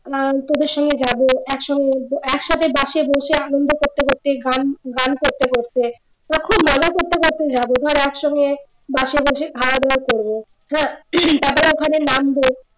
আহ তোদের সঙ্গে যাব একসঙ্গে একসাথে পাশে বসে আনন্দ করতে করতে গান গান করতে করতে তো খুব মজা করতে করতে যাব ধর একসঙ্গে বাসে বসে খাওয়া দাওয়া করবো তারপরে ওখানে নামবো